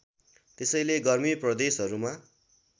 त्यसैले गर्मी प्रदेशहरूमा